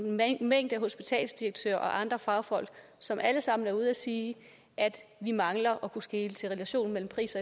mængde hospitalsdirektører og andre fagfolk som alle sammen er ude at sige at vi mangler at kunne skele til relationen mellem pris